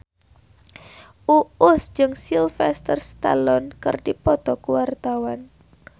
Uus jeung Sylvester Stallone keur dipoto ku wartawan